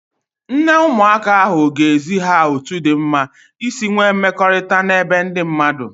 Nne ụmụaka ahụ ga-ezi ha otu dị mma isi nwee mmekọrịta n'ebe ndị mmadụ